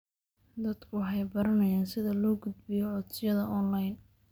Dadku waxay baranayaan sida loo gudbiyo codsiyada onlayn.